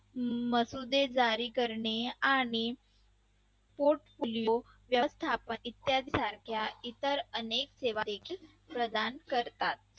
मसुदेदारी करणे आणि portfolio व्यवस्थापन इत्यादी सारख्या इतर अनेक सेवा देखील प्रदान करतात.